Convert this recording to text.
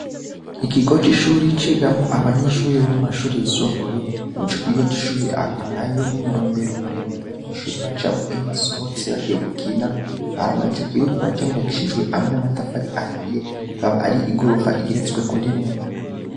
Ikigo c'ishure cigamwo abanyeshure bo mu mashuri yisumbuye. Ico kigo c'ishure hakaba hariyo n'umurombero muremure abanyeshure bacamwo iyo basohotse bagiye gukina hama ico kigo kiba cubakishijwe n'amatafari ahiye, akaba ari igorofa igeretswe ko rimwe.